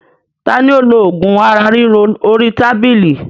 Tani ó lo ogún ara ríro orí tábìlì?